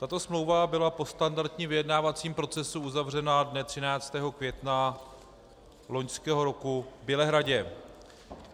Tato smlouva byla po standardním vyjednávacím procesu uzavřena dne 13. května loňského roku v Bělehradu.